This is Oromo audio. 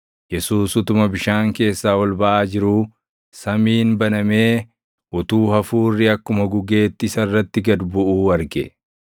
Yesuus utuma bishaan keessaa ol baʼaa jiruu, samiin banamee utuu Hafuurri akkuma gugeetti isa irratti gad buʼuu arge.